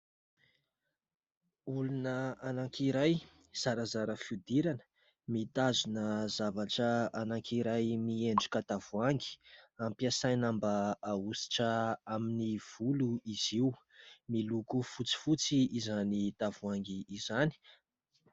Olona anankiray zarazara fihodirana, mitazona zavatra anankiray miendrika tavoahangy, ampiasaina mba ahosotra amin'ny volo izy io. Miloko fotsifotsy izany tavoahangy izany.